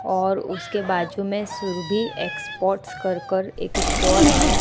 और उसके बाजू में सुरभि एक्सपोर्ट्स कर कर एक स्टोर है।